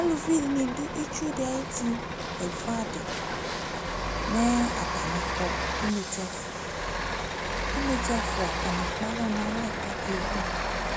alʋvi dini dʋ itsʋ di ayiti kɛvʋ adi, atanikɔ nʋ inɛtsɛ ɛƒʋa, inɛtsɛ ɛƒʋa atani ɛkpalɔ nʋ alɛ la kɛvʋ,